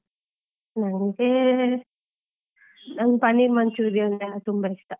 ನಂಗೆ, ನಂಗೆ panner manchurian ಎಲ್ಲ ತುಂಬಾ ಇಷ್ಟ.